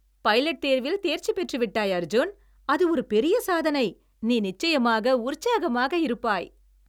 Pilot தேர்வில் தேர்ச்சி பெற்று விட்டாய், அர்ஜூன்! அது ஒரு பெரிய சாதனை, நீ நிச்சயமாக உற்சாகமாக இருப்பாய்.